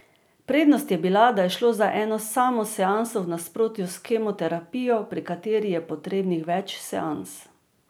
Prednost je bila, da je šlo za eno samo seanso v nasprotju s kemoterapijo, pri kateri je potrebnih več seans.